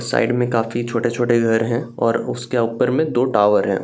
Side में काफी छोटे-छोटे घर हैं और उसके ऊपर में दो टॉवर हैं।